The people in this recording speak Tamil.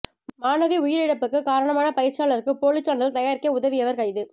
மாணவி உயிரிழப்புக்கு காரணமான பயிற்சியாளருக்கு போலி சான்றிதழ் தயாரிக்க உதவியவர் கைது